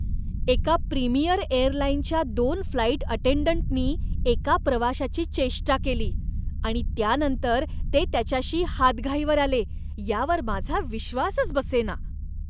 एका प्रीमियर एअरलाईनच्या दोन फ्लाईट अटेंडंटनी एका प्रवाशाची चेष्टा केली आणि त्यानंतर ते त्याच्याशी हातघाईवर आले, यावर माझा विश्वासच बसेना.